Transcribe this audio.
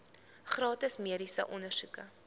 gratis mediese ondersoeke